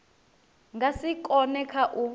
nga si kone kha u